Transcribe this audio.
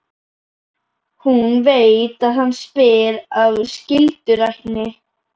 Hún veit að hann spyr af skyldurækni.